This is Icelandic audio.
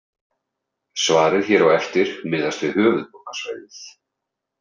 Svarið hér á eftir miðast við höfuðborgarsvæðið.